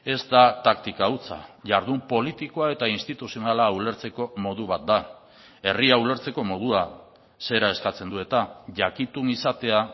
ez da taktika hutsa jardun politikoa eta instituzionala ulertzeko modu bat da herria ulertzeko modua zera eskatzen du eta jakitun izatea